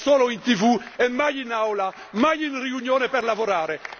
È solo in TV e mai in Aula, mai in riunione per lavorare.